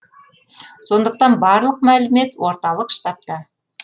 сондықтан барлық мәлімет орталық штабта